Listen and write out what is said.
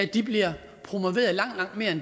de bliver